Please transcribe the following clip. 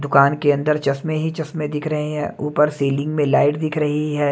दुकान के अंदर चश्मे ही चश्मे दिख रहे हैं ऊपर सीलिंग में लाइट दिख रही है।